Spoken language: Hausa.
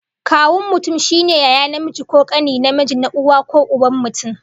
Kawun mutum shine yaya namiji ko kane namiji, na uwa ko uban mutum